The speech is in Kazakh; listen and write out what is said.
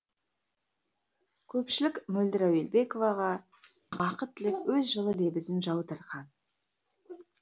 көпшілік мөлдір әуелбековаға бақыт тілеп өз жылы лебізін жаудырған